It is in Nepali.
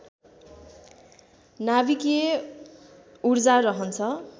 नाभिकीय ऊर्जा रहन्छ